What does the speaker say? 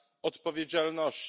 odpowiedzialności.